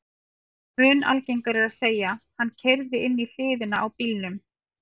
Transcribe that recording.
Mun algengara er að segja: Hann keyrði inn í hliðina á bílnum